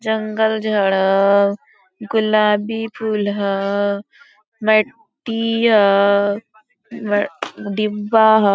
जंगल झाड़ हो गुलाबी फुल हो व्यक्ति हो डिब्बा हो ।